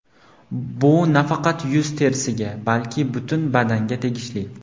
Bu nafaqat yuz terisiga, balki butun badanga tegishli.